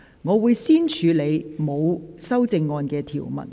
我會先處理沒有修正案的條文。